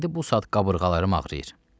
İndi bu saat qabırğalarım ağrıyır.